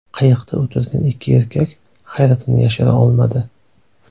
Qayiqda o‘tirgan ikki erkak hayratini yashira olmadi.